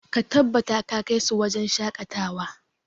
Ka tabbata ka kai su wajen shakatawa!